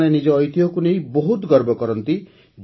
ସେମାନେ ନିଜ ଐତିହ୍ୟକୁ ନେଇ ବହୁତ ଗର୍ବ କରନ୍ତି